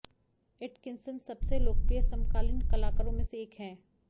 Atkinson सबसे लोकप्रिय समकालीन कलाकारों में से एक है